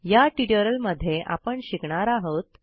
या ट्युटोरियलमध्ये आपण शिकणार आहोत